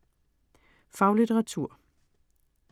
Faglitteratur